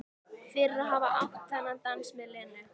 Fyrir að hafa átt þennan dans með Lenu.